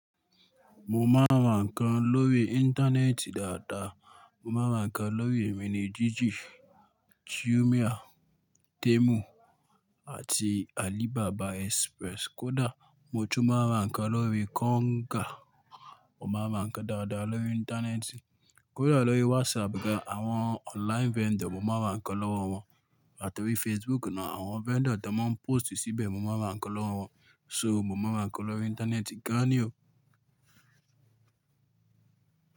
Mo máa ra ǹkan lórí Íńtánẹ́ẹ̀tì dáadáa. Mo máa ra ǹkan lórí Emínì Jíjì, júmía, Téèmu àti Àlíbábà Express. Kódà mo tún máa ra ǹkan lórí Kọ́ńgà. Mo máa ra ǹkan dáadáa lórí Íńtánẹ́ẹ̀tì. Kódà lórí wásapù ga, àwọn online vendor, mo máa ra ǹkan lọ́wọ́ wọn. Àti orí Facebook náà, àwọn vendor tí wọ́n ń póòstì síbẹ̀, mo máa ra ǹkan lọ́wọ́ wọn. So mo máa ń ra ǹkan lórí Íńtánẹ́ẹ̀tì gan-an ni o.